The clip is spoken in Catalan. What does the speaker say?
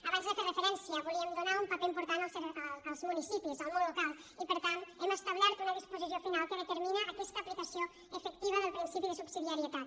abans hi he fet referència volíem donar un paper important als municipis al món local i per tant hem establert una disposició final que determina aquesta aplicació efectiva del principi de subsidiarietat